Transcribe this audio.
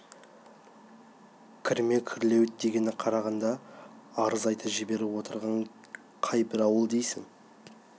кірме күрлеуіт дегеніне қарағанда арыз айта жіберіп отырған қай бір бай ауыл дейсің